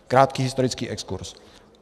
Krátký historický exkurz.